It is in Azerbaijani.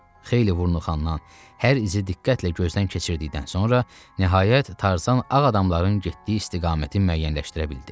Xeyli vurnuxandan hər izi diqqətlə gözdən keçirdikdən sonra nəhayət Tarzan ağ adamların getdiyi istiqaməti müəyyənləşdirə bildi.